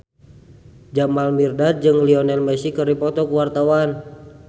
Jamal Mirdad jeung Lionel Messi keur dipoto ku wartawan